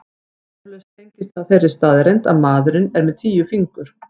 Eflaust tengist það þeirri staðreynd að maðurinn er með tíu fingur.